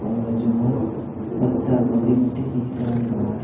और रजो बहोत पत्ता गोभी गुट्टी बीसानार।